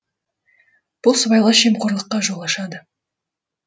бұл сыбайлас жемқорлыққа жол ашады